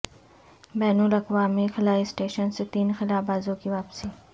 بین الاقوامی خلائی اسٹیشن سے تین خلابازوں کی واپسی